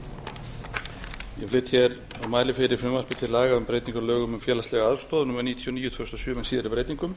flyt hér og mæli fyrir frumvarpi til afla um breytingu á lögum um félagslega aðstoð númer níutíu og níu tvö þúsund og sjö með síðari breytingum